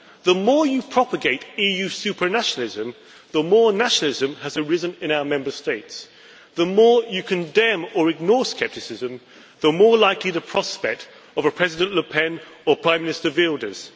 The more you propagate EU supranationalism, the more nationalism has arisen in our Member States. The more you condemn or ignore scepticism, the more likely the prospect of a President Le Pen or a Prime Minister Wilders.